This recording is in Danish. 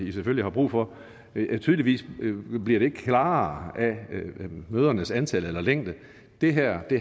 i selvfølgelig har brug for tydeligvis bliver det ikke klarere af mødernes antal eller længde det her